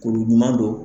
Kolo ɲuman don